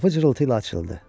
Qapı cırıltı ilə açıldı.